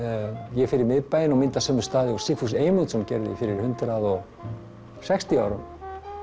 ég fer í miðbæinn og mynda sömu staði og Sigfús Eymundsson gerði fyrir sextíu árum